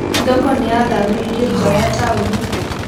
Thoko nĩĩthamĩirio nja wa taũni